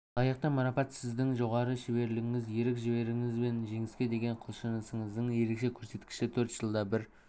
лайықты марапат сіздің жоғары шеберлігіңіз ерік-жігеріңіз бен жеңіске деген құлшынысыңыздың ерекше көрсеткіші төрт жылда бір